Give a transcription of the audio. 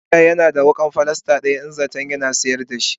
dauda Yana da wukan pilalas daya yawa in zaton Yana sayar dashi.